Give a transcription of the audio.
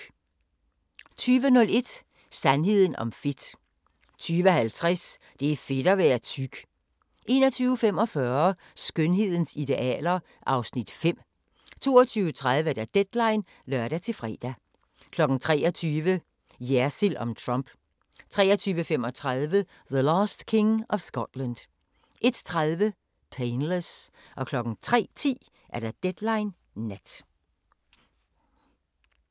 20:01: Sandheden om fedt 20:50: Det er fedt at være tyk 21:45: Skønhedens idealer (Afs. 5) 22:30: Deadline (lør-fre) 23:00: Jersild om Trump 23:35: The Last King of Scotland 01:30: Painless 03:10: Deadline Nat